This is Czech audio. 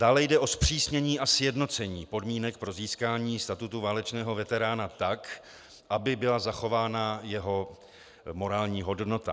Dále jde o zpřísnění a sjednocení podmínek pro získání statutu válečného veterána tak, aby byla zachována jeho morální hodnota.